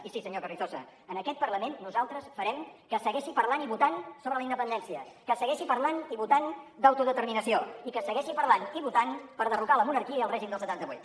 i sí senyor carrizosa en aquest parlament nosaltres farem que es segueixi parlant i votant sobre la independència que es segueixi parlant i votant d’autodeterminació i que es segueixi parlant i votant per derrocar la monarquia i el règim del setanta vuit